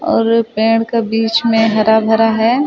और पेड़ के बीच में हरा-भरा है।